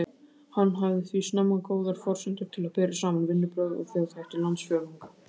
Hann hafði því snemma góðar forsendur til að bera saman vinnubrögð og þjóðhætti landsfjórðunga.